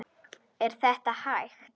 Er þetta hægt?